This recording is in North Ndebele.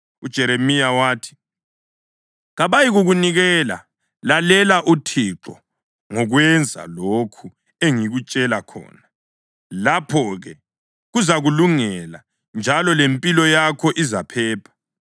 UJeremiya wathi, “Kabayikukunikela. Lalela uThixo ngokwenza lokhu engikutshela khona. Lapho-ke kuzakulungela, njalo lempilo yakho izaphepha.